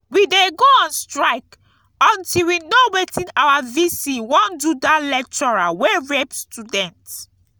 we dey go on strike until we know wetin our vc wan do dat lecturer wey rape student